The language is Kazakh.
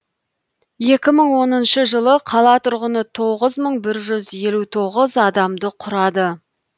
екі мың оныншы жылы қала тұрғыны тоғыз мың бір жүз елу тоғыз адамды құрады